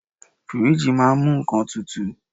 Fíríjì máà ń mú nnkan tutù.